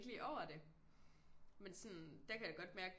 Lige over det men sådan der kan jeg godt mærke